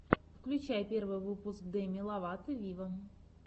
включай первый выпуск деми ловато виво